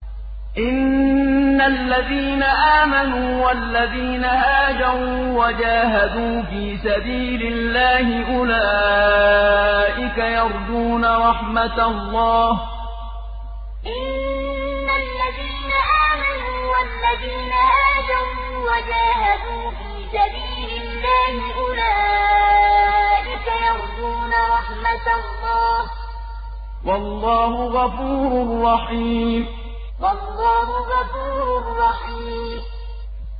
إِنَّ الَّذِينَ آمَنُوا وَالَّذِينَ هَاجَرُوا وَجَاهَدُوا فِي سَبِيلِ اللَّهِ أُولَٰئِكَ يَرْجُونَ رَحْمَتَ اللَّهِ ۚ وَاللَّهُ غَفُورٌ رَّحِيمٌ إِنَّ الَّذِينَ آمَنُوا وَالَّذِينَ هَاجَرُوا وَجَاهَدُوا فِي سَبِيلِ اللَّهِ أُولَٰئِكَ يَرْجُونَ رَحْمَتَ اللَّهِ ۚ وَاللَّهُ غَفُورٌ رَّحِيمٌ